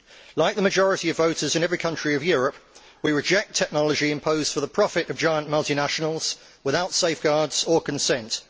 Like the majority of voters in every country of Europe, we reject technology imposed for the profit of giant multinationals without safeguards or consent.